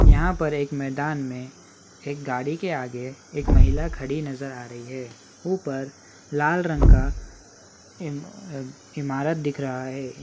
यहां पर एक मैदान में एक गाड़ी के आगे एक महिला खड़ी नजर आ रही है ऊपर लाल रंग का इमा इमारत दिख रहा है।